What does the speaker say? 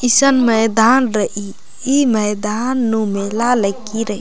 ईसन मैदान रइई ई मैदान नू मेला लक्की रइ --